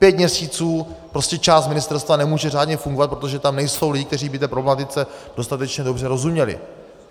Pět měsíců prostě část ministerstva nemůže řádně fungovat, protože tam nejsou lidi, kteří by té problematice dostatečně dobře rozuměli.